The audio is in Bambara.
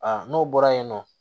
Aa n'o bɔra yen nɔ